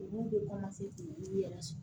Olu bɛ yɛrɛ sɔrɔ